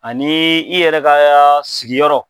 Ani i yɛrɛ ka sigiyɔrɔ.